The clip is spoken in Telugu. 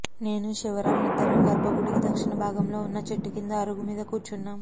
నేనూ శివరాం యిద్దరం గర్భగుడికి దక్షిణ భాగంలో వున్న చెట్టు కింద అరుగు మీద కూర్చున్నాము